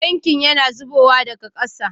Tankin yana zubowa daga kasa